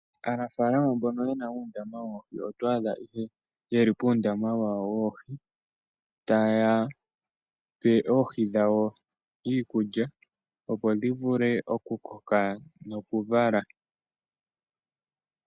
Aanafalama mbono yena uundama woohi oto adha yeli puundama wawo woohi taya pe oohi dhawo iikulya opo dhi vule oku koka noku vala.